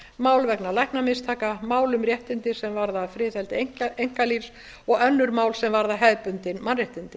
mál vegna læknamistaka mál um réttindi sem varða friðhelgi einkalífs og önnur mál sem varða hefðbundin mannréttindi